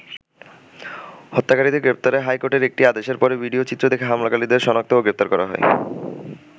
হত্যাকারীদের গ্রেপ্তারে হাইকোর্টের একটি আদেশের পরে, ভিডিও চিত্র দেখে হামলাকারীদের সনাক্ত ও গ্রেপ্তার করা হয়।